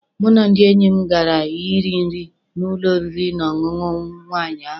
Mụ na ndị enyi m gara I ri nri na n'ụlọ oriri na ọṅụṅụ nwaanyị ahụ.